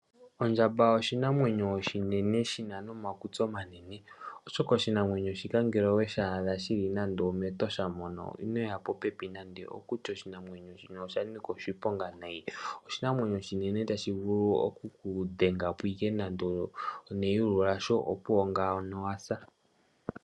Ondjamba oshinamwenyo oshinene shina nomakutsi omanene, oshoka oshinamwenyo shika ngele oweshi adha shili nando omEtosha moka ino shiya popepi nande, oshika oshinamwenyo shika oshanika oshiponga nayi. Oshinamwenyo oshinene tashi vulu okukudhengapo neyulu lasho opuwo ngaano owahulitha.